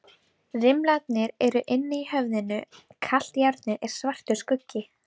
Rimlarnir eru inni í höfðinu, kalt járnið er svartur skuggi.